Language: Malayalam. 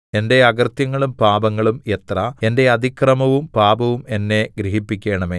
എന്റെ അകൃത്യങ്ങളും പാപങ്ങളും എത്ര എന്റെ അതിക്രമവും പാപവും എന്നെ ഗ്രഹിപ്പിക്കണമേ